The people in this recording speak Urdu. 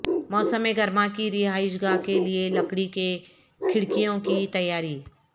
موسم گرما کی رہائش گاہ کے لئے لکڑی کے کھڑکیوں کی تیاری